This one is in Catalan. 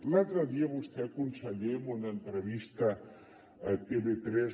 l’altre dia vostè conseller en una entrevista a tv3